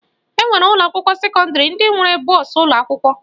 E nwere ụlọakwụkwọ sekọndịrị ndị nwere bọọsụ ụlọakwụkwọ